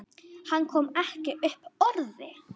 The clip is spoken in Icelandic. Hann kom ekki upp orði.